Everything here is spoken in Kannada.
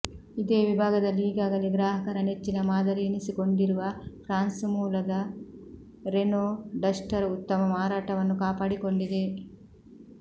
ಇದೇ ವಿಭಾಗದಲ್ಲಿ ಈಗಾಗಲೇ ಗ್ರಾಹಕರ ನೆಚ್ಚಿನ ಮಾದರಿಯೆನಿಸಿಕೊಂಡಿರುವ ಫ್ರಾನ್ಸ್ ಮೂಲದ ರೆನೊ ಡಸ್ಟರ್ ಉತ್ತಮ ಮಾರಾಟವನ್ನು ಕಾಪಾಡಿಕೊಂಡಿದೆ